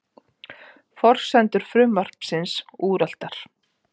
Forsendur frumvarpsins úreltar